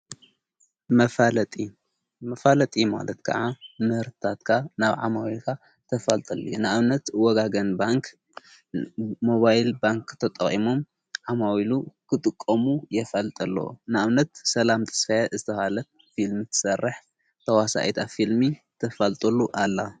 መፋለጢ ማለት ከዓ መህርታትካ ናብ ዓማዊካ ተፈልጠሉ ንኣብነት ወጋገን ባንክ ሞባይል ባንክ ተጠቂሞም ዓማዊሉ ኽጥቆሙ የፋልጠለ ንኣብነት ሰላም ተስፋያት ዝተሃለት ፊልሚ ትሠርሕ ተዋሣኤታ ፊልሚ ተፋልጠሉ ኣላ::